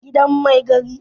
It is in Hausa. a gidan Mai gari